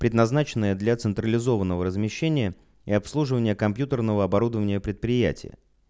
предназначенное для централизованного размещения и обслуживания компьютерного оборудования предприятия